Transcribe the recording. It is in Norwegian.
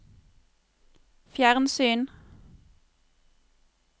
fjernsyn